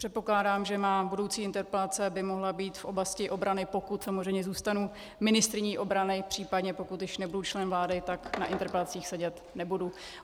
Předpokládám, že má budoucí interpelace by mohla být v oblasti obrany, pokud samozřejmě zůstanu ministryní obrany, případně pokud již nebudu člen vlády, tak na interpelacích sedět nebudu.